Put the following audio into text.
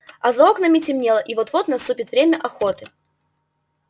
а за окнами темнело и вот-вот наступит время охоты